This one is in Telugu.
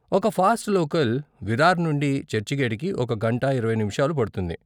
ఒక ఫాస్ట్ లోకల్ విరార్ నుండి చర్చిగేటుకి ఒక గంట ఇరవై నిముషాలు పడుతుంది.